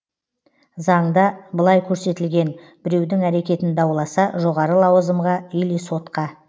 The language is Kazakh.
заңда былай көрсетілген біреудің әрекетін дауласа жоғары лауазымға или сотқа